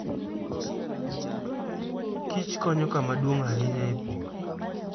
Kich konyo kama duong' ahinya e pur.